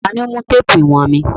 Ta ni ó mú téèpù ìwọ̀n mi.